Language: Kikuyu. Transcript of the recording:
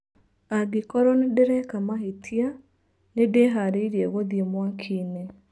Angĩkorwo nĩ ndĩreka mahĩtia. Nĩ ndĩharĩirie gũthiĩ mwakinĩ.